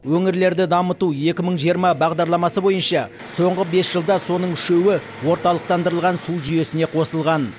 өңірлерді дамыту екі мың жиырма бағдарламасы бойынша соңғы бес жылда соның үшеуі орталықтандырылған су жүйесіне қосылған